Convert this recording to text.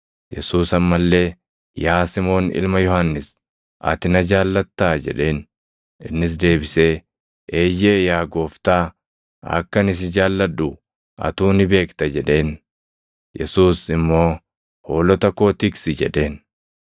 Yesuus amma illee, “Yaa Simoon ilma Yohannis, ati na jaallattaa?” jedheen. Innis deebisee, “Eeyyee, yaa Gooftaa, akka ani si jaalladhu atuu ni beekta” jedheen. Yesuus immoo, “Hoolota koo tiksi” jedheen.